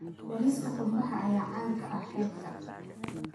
Bariiska qumbaha ayaa caan ka ah xeebta.